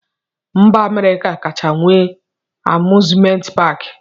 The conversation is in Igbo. Mba Amerịka kacha nwee amuzment paki.